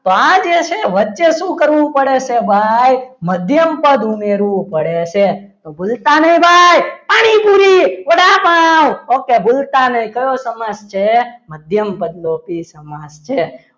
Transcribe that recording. તો આજે છે વચ્ચે શું કરવું પડે છે ભાઈ મધ્યમ પદ ઉમેરવું પડે છે તો ભૂલતા નહિ ભાઈ પાણીપુરી વડાપાવ ઓકે ભૂલતા નહીં કયો સમાસ છે મધ્યમપદલોપી સમાસ છે.